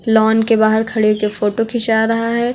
Lawn के बाहर खड़े होके फोटो खींचा रहा है।